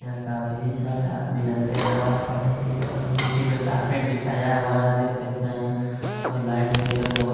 यहाँ काफी सारे आदमी लोग आते है नमाज पढ़ने के लिए कालीन बिची हुई है कारपेट बिछाया हुआ है और लाइट वगैरा बहोत--